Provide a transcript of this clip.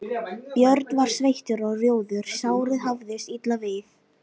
Björn var sveittur og rjóður, sárið hafðist illa við.